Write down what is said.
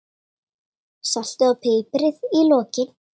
Saltið og piprið í lokin.